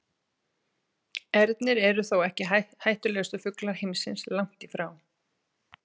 Ernir eru þó ekki hættulegustu fuglar heimsins, langt í frá.